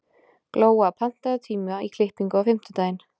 Glóa, pantaðu tíma í klippingu á fimmtudaginn.